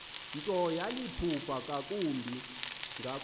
nto yaliphupha ngakumbi